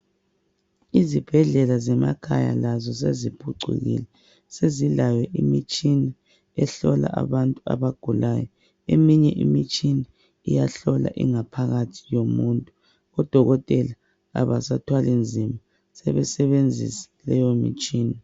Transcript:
Izibhedlela zemakhaya lazo seziphucukile sezilayo imitshina ehlola abantu abagulayo. Eminye imitshina iyahlola ingaphakathi yomuntu, odokotela abasathwali nzima sebesebenzisa leyo mitshina.